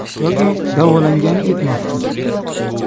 Yoki davolangani ketmoqchi.